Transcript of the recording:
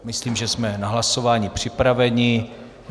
Myslím, že jsme na hlasování připraveni.